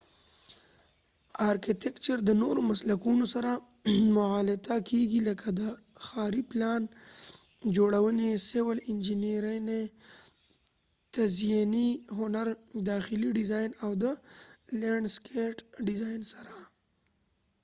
ارکېټیکچر د نورو مسلکونو سره مغالطه کېږی لکه د ښاری پلان جوړونی، سیول انچېنیری، تزیېنی هنر، داخلی ډیزاین، او د لینډ سکېټ ډیزاین سره